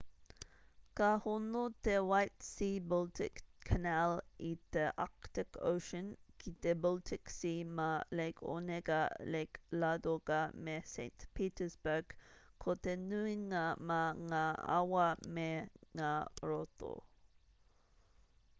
ka hono te white sea-baltic canal i te arctic ocean ki te baltic sea mā lake onega lake ladoga me saint petersburg ko te nuinga mā ngā awa me ngā roto